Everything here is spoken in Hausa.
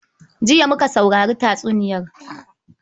Jiya muka saurari tatsuniyar.